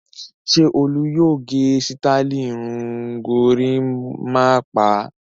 Ṣé Olú yóò gẹ sítáálì irun gorímápá?